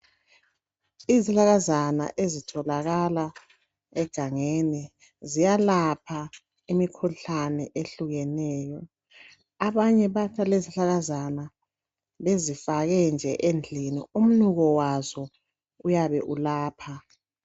Izihlahlakazana ezitholakala egangeni ziyalapha imikhuhlane ehlukeneyo abanye bayathatha lezizihlahlakazana bezifake nje endlini umnuko wazo uyabe ulapha.